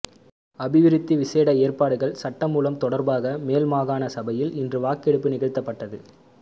அபிவிருத்தி விசேட ஏற்பாடுகள் சட்டமூலம் தொடர்பாக மேல்மாகாண சபையில் இன்று வாக்கெடுப்பு நிகழ்த்தப்பட்டது